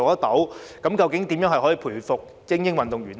究竟我們應該如何培育精英運動員？